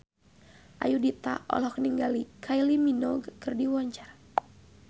Ayudhita olohok ningali Kylie Minogue keur diwawancara